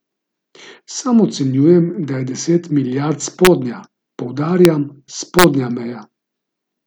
Sam ocenjujem, da je deset milijard spodnja, poudarjam, spodnja meja.